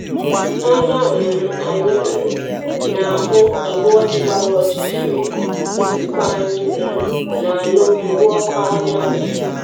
Anya um anyị um na-ahụ igwe ojii gbara ọchịchịrị, ntịkwa anyị um na-anụ mkpu ọkụ anyanwụ.